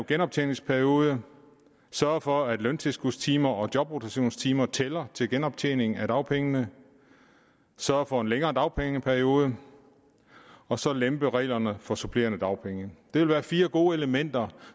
genoptjeningsperiode sørge for at løntilskudstimer og jobrotationstimer tæller til genoptjening af dagpengene sørge for en længere dagpengeperiode og så lempe reglerne for supplerende dagpenge det vil være fire gode elementer